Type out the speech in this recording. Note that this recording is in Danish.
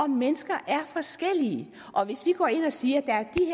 mennesker er forskellige hvis vi går ind og siger